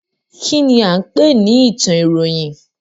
Kínní a ń pè ní ìtàn ìròyìn?